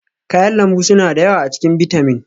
kayan lambu suna da yawa a cikin bitamin